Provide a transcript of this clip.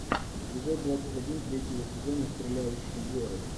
эпизод двадцать один третьего сезона стреляющие горы